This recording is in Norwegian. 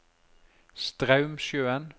Straumsjøen